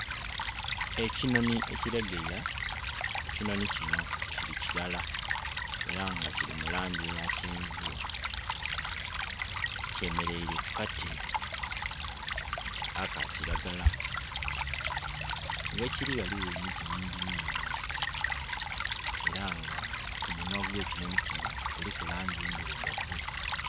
Ekinonhi ekilegeya ekinonhi kino kili kilala era nga kili mulangi eya kyenvu, kyemereire ku kati akakilagala ghekiri ghaligho emiti mingi mingi era nga ku munhwa gwekinonhi kino kuliku langi endhirugavu